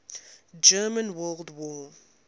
german world war